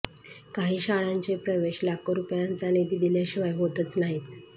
काही शाळांचे प्रवेश लाखो रुपयांचा निधी दिल्याशिवाय होतच नाहीत